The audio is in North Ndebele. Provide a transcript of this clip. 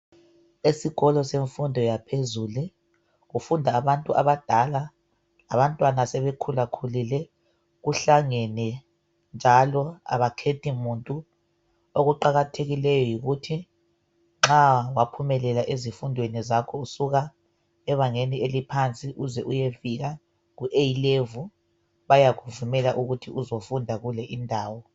Esikolo semfundo yaphezulu. Kufunda abantu abadala labantwana asebekhulakhulile. Kuhlangene njalo abakhethi muntu. Okuqakathekileyo yikuthi nxa waphumelela ezifundweni zakho usuka ebangeni eliphansi uze uyefika ku eyi levuli, bayakuvumela ukuthi uzofunda kule indawo.